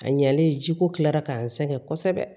A ɲɛlen jiko kilara k'an sɛgɛn kosɛbɛ